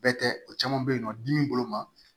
Bɛɛ tɛ o caman bɛ yen nɔ dimi bolo ma